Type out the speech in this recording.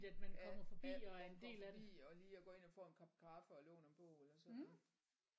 Ja ja hvor man kommer forbi og lige og går ind og får en kop kaffe og låner en bog eller sådan noget